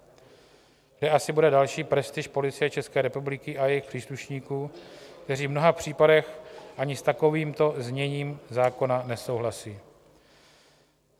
Kde asi bude další prestiž Policie České republiky a jejích příslušníků, kteří v mnoha případech ani s takovýmto zněním zákona nesouhlasí?